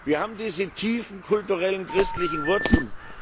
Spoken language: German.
Wir haben diese tiefen kulturellen christlichen Wurzeln.